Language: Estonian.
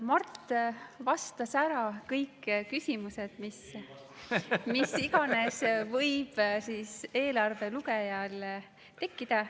Mart vastas ära kõik küsimused, mis iganes võib eelarve lugejal tekkida.